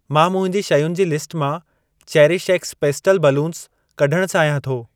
मां मुंहिंजी शयुनि जी लिस्ट मां चेरिश एक्स पेस्टल बैलून्स कढण चाहियां थो।